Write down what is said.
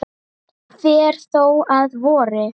fer þó að vori.